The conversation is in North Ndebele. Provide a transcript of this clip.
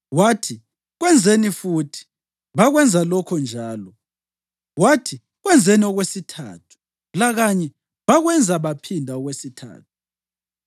Wathi, “Kwenzeni futhi,” bakwenza lokho njalo. Wathi, “Kwenzeni okwesithathu,” lakanye bakwenza bephinda okwesithathu.